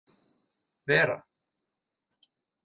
Vera